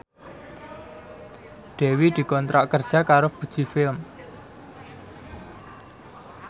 Dewi dikontrak kerja karo Fuji Film